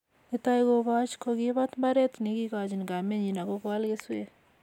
netai kobooch, kokiibat mbaret nekiikochini kamenyin ak koal keswek